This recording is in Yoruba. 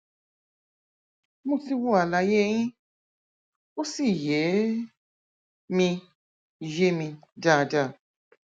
mo ti wo àlàyé yín ó sì yé mi yé mi dáadáa